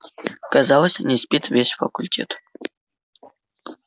казалось не спит весь факультет